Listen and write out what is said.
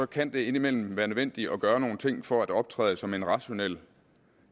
kan det indimellem være nødvendigt at gøre nogle ting for at optræde som en rationel